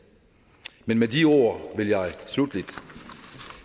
med de ord vil jeg slutteligt